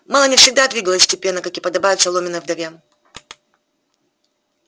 мелани всегда двигалась степенно как и подобает соломенной вдове